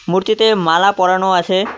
মূর্তিতে মালা পরানো আছে।